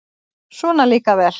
Svona líka vel!